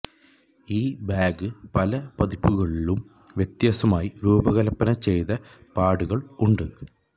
ഈ ബാഗ് പല പതിപ്പുകളിലും വ്യത്യസ്തമായി രൂപകൽപ്പന ചെയ്ത പാഡുകൾ ഉണ്ട്